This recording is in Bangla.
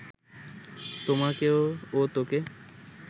তোমাকে ও তোকে